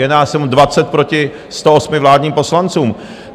Je nás jenom 20 proti 108 vládním poslancům.